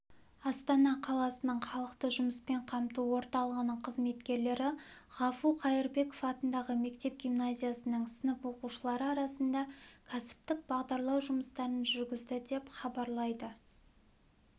астана қаласының халықты жұмыспен қамту орталығының қызметкерлері ғафу қайырбеков атындағы мектеп-гимназиясының сынып оқушылары арасында кәсіптік бағдарлау жұмыстарын жүргізді деп хабарлайды